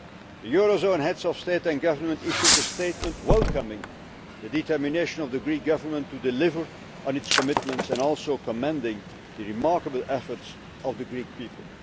The eurozone Heads of State and Government issued a statement welcoming the determination of the Greek Government to deliver on its commitments and also commending the remarkable efforts of the Greek people.